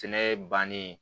Sɛnɛ bannen